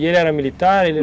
E ele era militar?